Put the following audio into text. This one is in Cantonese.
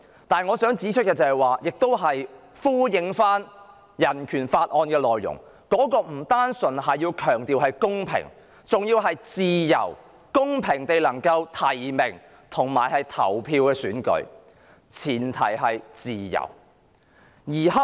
但我想指出的是——亦希望呼應《香港人權與民主法案》的內容——選舉不應只講求公平，而公平地提名及投票的前提是"自由"。